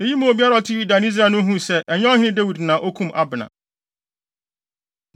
Eyi maa obiara a ɔte Yuda ne Israel no huu sɛ, ɛnyɛ ɔhene Dawid na okum Abner.